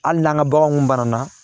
Hali n'an ka baganw banana